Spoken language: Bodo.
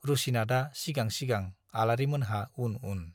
रुसिनाथआ सिगां सिगां, आलारिमोनहा उन उन।